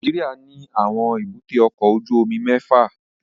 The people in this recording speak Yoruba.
Nàìjíríà ní àwọn èbúté ọkọ ojú omi mẹ́fà